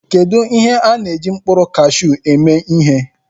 Kedu ihe a na-eji mkpụrụ kashụ eme ihe?